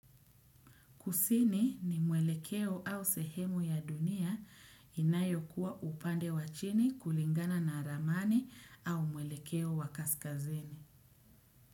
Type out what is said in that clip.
Kusini ni mwelekeo au sehemu ya dunia inayo kuwa upande wa chini kulingana na ramani au mwelekeo wa kaskazini.